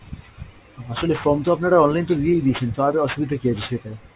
আসলে form তো আপনারা online তো দিয়েই দিয়েছেন তো আর অসুবিধার কী আছে সেটা!